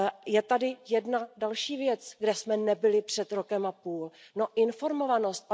Je tady jedna další věc, kde jsme nebyli před rokem a půl informovanost.